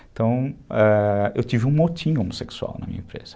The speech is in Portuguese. Então, ãh, eu tive um motim homossexual na minha empresa.